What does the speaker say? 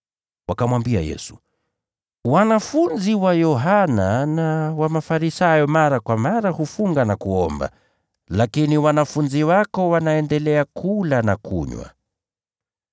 Wakamwambia Yesu, “Wanafunzi wa Yohana na wa Mafarisayo mara kwa mara hufunga na kuomba, lakini wanafunzi wako wanaendelea kula na kunywa.”